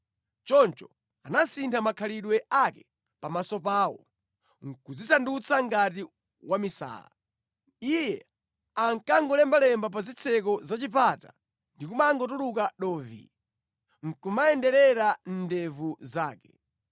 Choncho anasintha makhalidwe ake pamaso pawo, nʼkudzisandutsa ngati wamisala. Iye ankangolembalemba pa zitseko za chipata ndi kumangotuluka dovi, nʼkumayenderera mʼndevu zake.